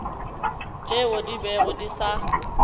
tšeo di bego di sa